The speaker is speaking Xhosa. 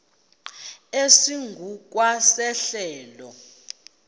esingu kwa sehlelo